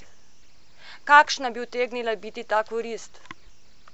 Kakšna bi utegnila biti ta korist?